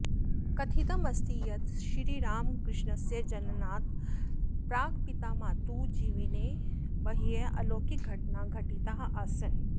कथितम् अस्ति यत् श्रीरामकृष्णस्य जननात् प्राग् पितामातुः जीवने बह्वः अलौकिकघटनाः घटिताः आसन्